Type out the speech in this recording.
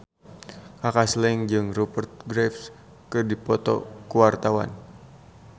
Kaka Slank jeung Rupert Graves keur dipoto ku wartawan